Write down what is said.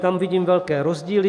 Tam vidím velké rozdíly.